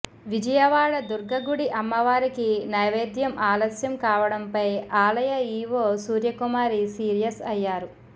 విజయవాడ దుర్గ గుడి అమ్మవారికి నైవేద్యం ఆలస్యం కావడంపై ఆలయ ఈవో సూర్యకుమారి సీరియస్ అయ్యారు